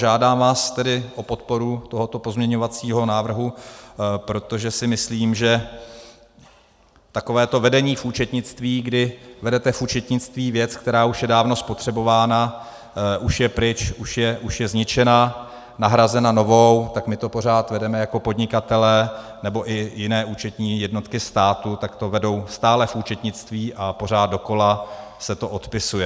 Žádám vás tedy o podporu tohoto pozměňovacího návrhu, protože si myslím, že takovéto vedení v účetnictví, kdy vedete v účetnictví věc, která už je dávno spotřebována, už je pryč, už je zničena, nahrazena novou, tak my to pořád vedeme jako podnikatelé, nebo i jiné účetní jednotky státu, tak to vedou stále v účetnictví a pořád dokola se to odepisuje.